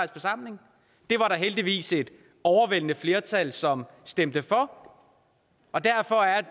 forsamling det var der heldigvis et overvældende flertal som stemte for og derfor er